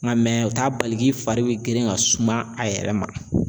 Nka o t'a bali k'i fari bi girin ka suma a yɛrɛ ma.